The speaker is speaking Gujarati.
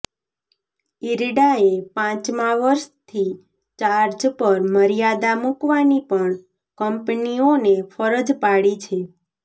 ઇરડાએ પાંચમા વર્ષથી ચાર્જ પર મર્યાદા મૂકવાની પણ કંપનીઓને ફરજ પાડી છે